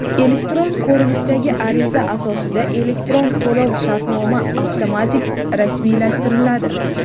elektron ko‘rinishdagi ariza asosida elektron to‘lov-shartnoma avtomatik rasmiylashtiriladi.